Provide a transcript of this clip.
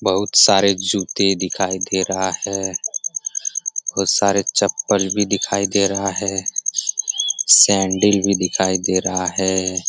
बहुत सारे जूते दिखाई दे रहा है बहुत सारे चप्पल भी दिखाई दे रहा है सैंडल भी दिखाई दे रहा है।